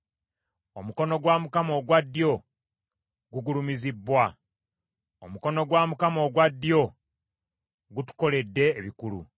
Omukono gwa Mukama ogwa ddyo gugulumizibbwa; omukono gwa Mukama ogwa ddyo gutukoledde ebikulu!”